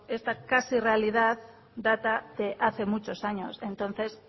esta casi realidad data hace muchos años entonces